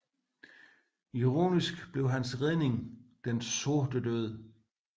Ironisk blev hans redning den Sorte Død